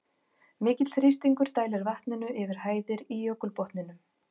Mikill þrýstingur dælir vatninu yfir hæðir í jökulbotninum.